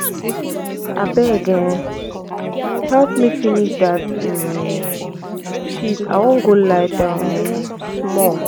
abeg um help me finish dat um sheet i wan go lie down um small